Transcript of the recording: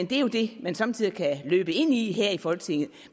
jo det man somme tider kan løbe ind i her i folketinget